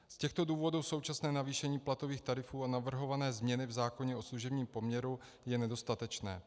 Z těchto důvodů současné navýšení platových tarifů a navrhované změny v zákoně o služebním poměru je nedostatečné.